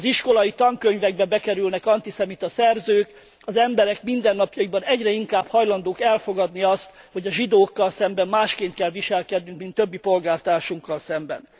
Az iskolai tankönyvekbe bekerülnek antiszemita szerzők, az emberek mindennapjaikban egyre inkább hajlandók elfogadni azt, hogy a zsidókkal szemben másképp kell viselkednünk, mint többi polgártársunkkal szemben.